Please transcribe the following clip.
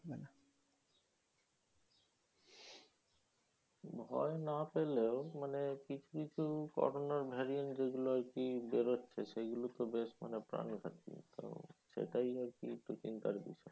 ভয় না পেলেও মানে কিছু কিছু corona র variant যেগুলো আরকি বেরোচ্ছে সেগুলোতে বেশ মানে প্রাণঘাতি। মানে সেটাই আরকি একটু চিন্তার বিষয়।